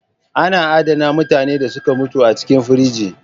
Ana adana mutanen da suka mutu a cikin frige